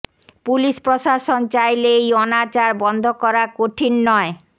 police প্রশাসন চাইলে এই অনাচার বন্ধ করা কঠিন নয়